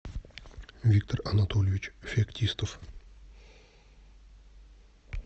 виктор анатольевич феоктистов